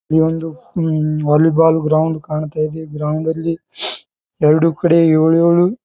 ಈ ಒಂದು ಹ್ಮ್ ವಾಲಿಬಾಲ್ ಗ್ರೌಂಡ್ ಕಾಣ್ತಾ ಇದೆ ಗ್ರೌಂಡ್ ಲ್ಲಿ ಎರಡು ಕಡೆ ಯೋಳ್ಯೊಳು--